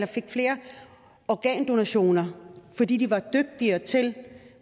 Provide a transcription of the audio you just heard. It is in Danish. fik flere organdonationer fordi de var dygtigere til